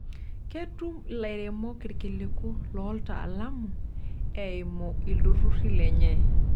Ketum lairemok irkiliku looltaalamu eimu ilturruri lenye.